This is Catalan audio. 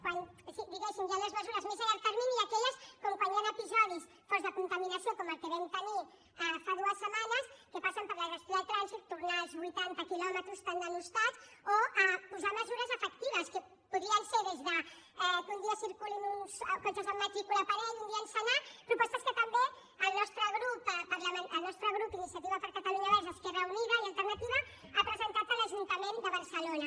quan diguéssim hi han les mesures més a llarg termini i aquelles com quan hi han episodis forts de contaminació com el que vam tenir fa dues setmanes que passen per la gestió del trànsit tornar als vuitanta quilòmetres tan denostats o posar mesures efectives que podrien ser des que un dia circulin cotxes amb matrícula parell un dia amb senar propostes que també el nostre grup d’iniciativa per catalunya verds esquerra unida i alternativa ha presentat a l’ajuntament de barcelona